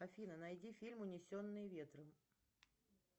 афина найди фильм унесенные ветром